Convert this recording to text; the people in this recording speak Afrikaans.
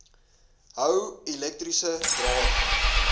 hou elektriese drade